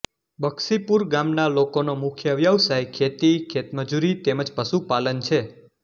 બક્ષીપુર ગામના લોકોનો મુખ્ય વ્યવસાય ખેતી ખેતમજૂરી તેમ જ પશુપાલન છે